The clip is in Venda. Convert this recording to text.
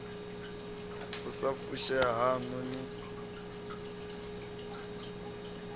u sa fushea haṋu ni